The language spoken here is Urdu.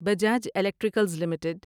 Bajaj electricals limited